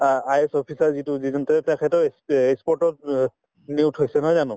I IS officer যিটো যিজন তেওঁ তেখেতে ই sport তত অ নিয়োগ হৈছে নহয় জানো